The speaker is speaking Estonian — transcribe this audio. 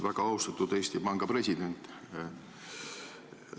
Väga austatud Eesti Panga president!